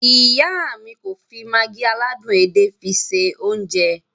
Iya mi ko fi Maggi aládùn edé fi se ounje.